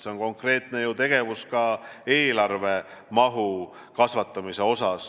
See on konkreetne tegevus ka eelarve mahu kasvatamisel.